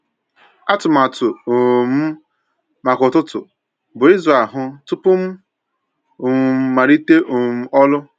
Atụmatụ um m maka ụtụtụ bụ ịzụ ahụ tupu m um malite um ọrụ.